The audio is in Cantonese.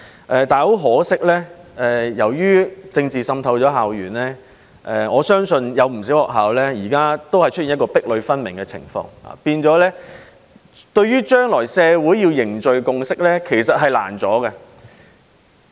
但是，很可惜，由於政治滲透校園，我相信有不少學校現在都出現壁壘分明的情況，導致將來的社會較難凝聚共識。